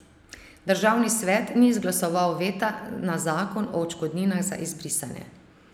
Državni svet ni izglasoval veta na zakon o odškodninah za izbrisane.